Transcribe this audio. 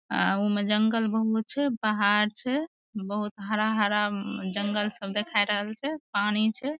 आ उ में जंगल बहुत छै पहाड़ छै बहुत हरा-हरा जंगल सब दिखाई रहल छै पानी छै।